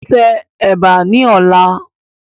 Tẹ Ẹ̀bà ni ọ̀la!